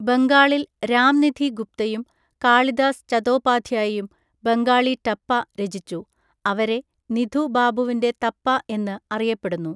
ബംഗാളിൽ രാംനിധി ഗുപ്തയും കാളിദാസ് ചതോപാധ്യായും ബംഗാളി ടപ്പ രചിച്ചു, അവരെ നിധു ബാബുവിന്റെ തപ്പ എന്ന് അറിയപ്പെടുന്നു.